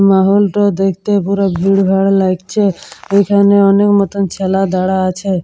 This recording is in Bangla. মাহলটা দেখতে পুরো ভিড় ভার লাগছে এখানে অনেক মতন ছেলে দাড়া আছে।